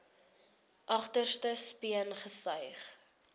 agterste speen gesuig